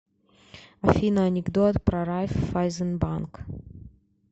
афина анекдот про райффайзенбанк